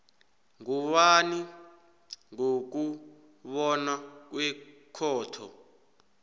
ngubani ngokubona kwekhotho